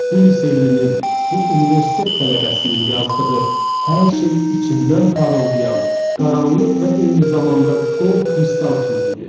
Bu liseylinin, bu universitet tələbəsinin yazdığı hər şey içindən parıldayan qaranlıq və eyni zamanda qor kristal kimi idi.